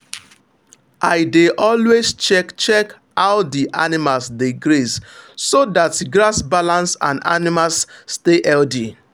i dey always check check how the animals dey graze so that grass balance and animals stay healthy.